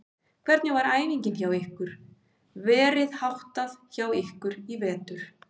Hvernig var æfingum hjá ykkur verið háttað hjá ykkur í vetur?